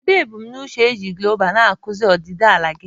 Kedu ebumnuche iji guloobu na klaasị ọdịdị ala gị?